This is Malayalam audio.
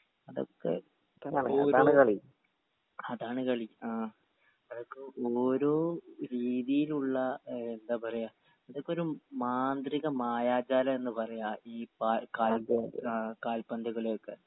അതൊക്കെ ഇപ്പൊ അതാണ് കളി ആ ഓരോ രീതിയിലുള്ള ഏഹ് എന്താ പറയാ ഇതക്കൊരു മാന്ത്രിക മായാജാലെന്ന് പറയാ ഈ പാ കായിക ഏഹ് കാൽപന്ത് കളിയൊക്കെ